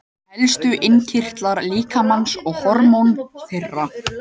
Helstu innkirtlar líkamans og hormón þeirra.